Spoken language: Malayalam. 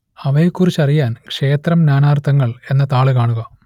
അവയെക്കുറിച്ചറിയാൻ ക്ഷേത്രം നാനാർത്ഥങ്ങൾ എന്ന താൾ കാണുക